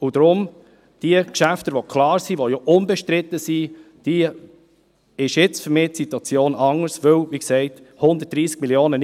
Deshalb ist für mich die Situation nun anders bei den Geschäften, die klar und unbestritten sind.